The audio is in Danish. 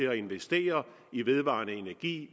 at investere i vedvarende energi